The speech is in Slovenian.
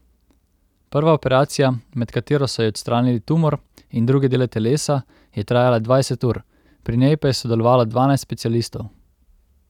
Prva operacija, med katero so ji odstranili tumor in druge dele telesa, je trajala dvajset ur, pri njej pa je sodelovalo dvanajst specialistov.